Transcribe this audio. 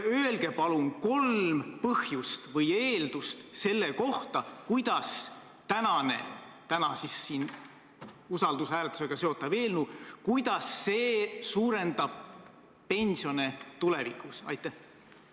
Öelge palun kolm eeldust, kuidas see usaldushääletusega seotud eelnõu suurendab tulevikus pensione.